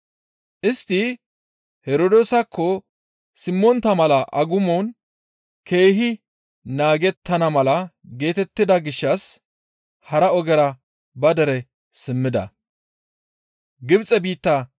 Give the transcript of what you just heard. Istti Herdoosakko simmontta mala agumon keehi naagettana mala geetettida gishshas hara ogera ba dere simmida.